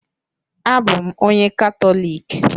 Abụ m onye Katọlik